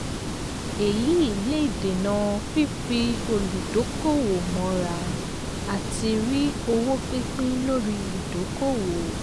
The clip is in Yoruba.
èyí èyí lè dènà fífi olùdókòwò mọ́ra àti rí owó pípín lórí ìdókòwò.